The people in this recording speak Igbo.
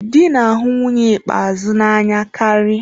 Dị na-ahụ nwunye ikpeazụ n'anya karị.